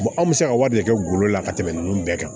anw bɛ se ka wari de kɛ golo la ka tɛmɛ ninnu bɛɛ kan